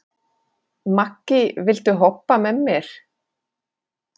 Maggý, viltu hoppa með mér?